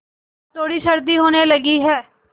अब थोड़ी सर्दी होने लगी है